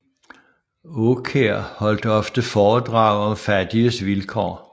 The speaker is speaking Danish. Aakjær holdt ofte foredrag om fattiges vilkår